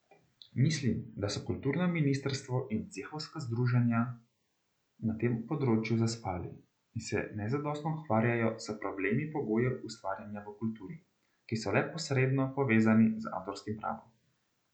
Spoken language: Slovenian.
Mislim, da so kulturno ministrstvo in cehovska združenja na tem področju zaspali in se nezadostno ukvarjajo s problemi pogojev ustvarjanja v kulturi, ki so le posredno povezani z avtorskim pravom.